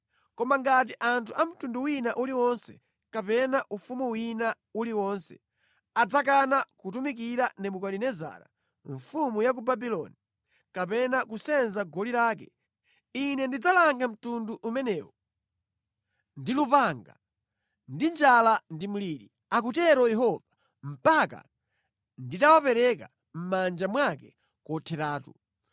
“ ‘Koma ngati anthu a mtundu wina uliwonse kapena ufumu wina uliwonse adzakana kutumikira Nebukadinezara mfumu ya ku Babuloni kapena kusenza goli lake, Ine ndidzalanga mtundu umenewo ndi lupanga, ndi njala ndi mliri, akutero Yehova, mpaka nditawapereka mʼmanja mwake kotheratu.